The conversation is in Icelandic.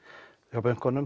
hjá bönkunum